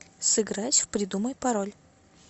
сыграть в придумай пароль